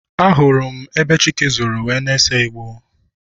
Ahụrụ m ebe Chike zoro wee na-ese igbo.